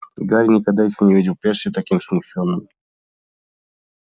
гарри никогда ещё не видел перси таким смущённым